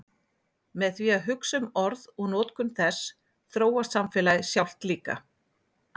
Með því að hugsa um orð og notkun þess þróast samfélagið sjálft líka.